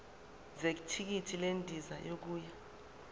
zethikithi lendiza yokuya